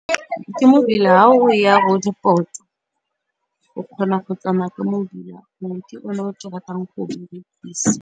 Ke mobila ha o ya Roodeport o kgona go tsamaya ka mobila o ke ratang go dirisa.